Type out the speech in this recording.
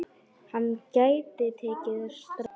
Hann gæti tekið strætó.